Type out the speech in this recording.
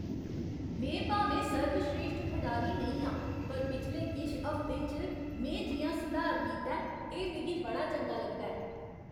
में भामें सर्वस्रेश्ठ खढारी नेईं आं, पर पिछले किश हफ्तें च में जि'यां सधार कीता ऐ, एह् मिगी बड़ा चंगा लगदा ऐ।